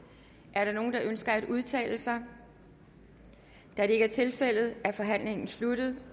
er der nogen der ønsker at udtale sig da det ikke er tilfældet er forhandlingen sluttet